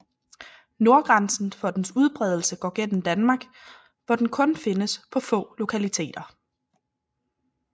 Nordgrænsen for dens udbredelse går gennem Danmark hvor den kun findes på få lokaliteter